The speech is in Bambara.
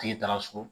Tigi taara so